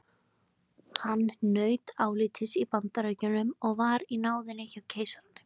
Hann naut álits í Bandaríkjunum og var í náðinni hjá keisaranum.